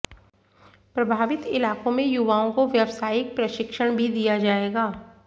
प्रभावित इलाकों में युवाओं को व्यावसायिक प्रशिक्षण भी दिया जाएगा